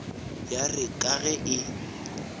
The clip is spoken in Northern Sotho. ya re ka ge e